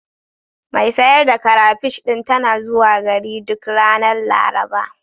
Mai sayar da karafish ɗin tana zuwa gari duk ranar Laraba.